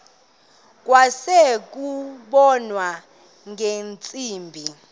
kwase kubonwa ngeentsimbi